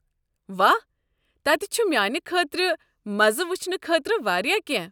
واہ، تتہِ چھُ میانہِ خٲطرٕ مزٕ وچھنہٕ خٲطرٕ واریاہ کینٛہہ۔